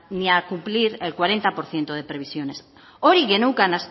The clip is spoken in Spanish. ni a cumplir el cuarenta por ciento de previsiones hori geneukan